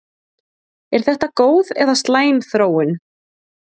Er þetta góð eða slæm þróun?